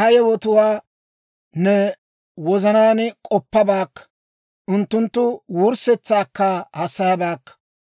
ha yewotuwaa ne wozanaan k'oppabaakka; unttunttu wurssetsaakka hassayabaakka.